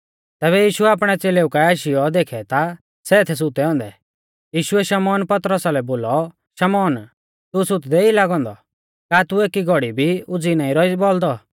तैबै यीशुऐ आपणै च़ेलेउ काऐ आशीयौ देखै ता सै थै सुतै औन्दै यीशुऐ शमौन पतरसा लै बोलौ शमौन तू सुतदै ई लागौ औन्दौ का तू एकड़ी घौड़ी भी उज़ीई नाईं रौई बौल़दौ